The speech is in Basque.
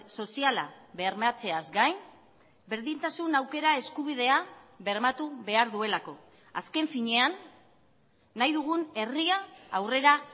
soziala bermatzeaz gain berdintasun aukera eskubidea bermatu behar duelako azken finean nahi dugun herria aurrera